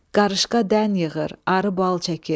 Qarışqa dən yığır, arı bal çəkir.